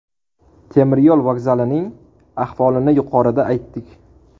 Temiryo‘l vokzalining ahvolini yuqorida aytdik.